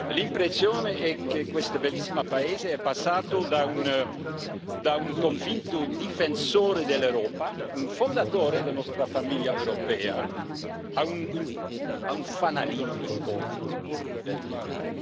L'impressione è che questo bellissimo paese è passato da un convinto difensore dell'Europa, un fondatore della nostra famiglia europea, a un fanalino di coda dell'Unione.